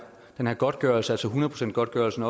godtgørelse altså godtgørelsen